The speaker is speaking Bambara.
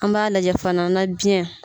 An b'a lajɛ fana na biyɛn